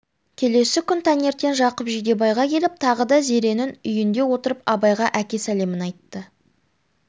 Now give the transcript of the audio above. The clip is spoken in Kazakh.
келесі күн таңертең жақып жидебайға келіп тағы да зеренің үйінде отырып абайға әке сәлемін айтты